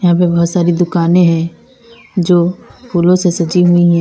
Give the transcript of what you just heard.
इनमें बहुत सारी दुकाने हैं जो फूलों से सजी हुई हैं।